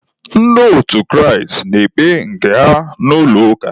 Ndị otu Kraịst na-ekpe nke ha n'ụlọ ụka.